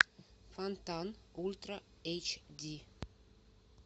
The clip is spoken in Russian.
фонтан ультра эйч ди